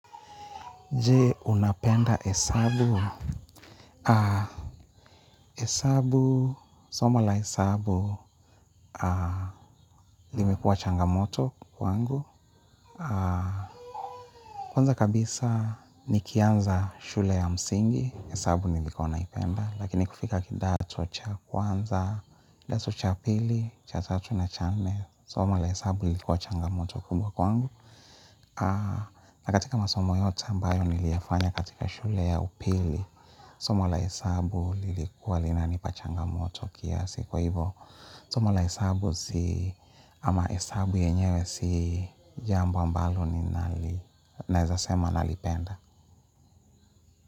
Jee, unapenda hesabu? Hesabu, soma la hesabu, limekuwa changamoto kwangu. Kwanza kabisa, nikianza shule ya msingi, hesabu nilikua naipenda. Lakini kufika kidato cha kwanza, kidato cha pili, cha tatu na cha nne, somo la hesabu lilikuwa changamoto kubwa kwangu. Na katika masomo yote ambayo niliyafanya katika shule ya upili. Somo la hesabu lilikuwa linanipa changamoto kiasi. Kwa hivo somo la hesabu zi ama hesabu yenyewe si jambo ambalo ninali naezasema nalipenda.